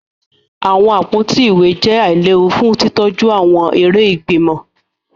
Awọn àpótí ìwé jẹ ailewu fún titọju awọn eré ìgbìmọ̀